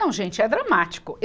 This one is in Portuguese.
Não, gente, é dramático.